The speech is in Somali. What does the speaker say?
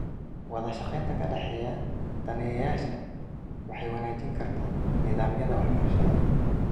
Wadashaqeynta ka dhexeysa daneeyayaasha waxay wanaajin kartaa nidaamyada waxbarashada.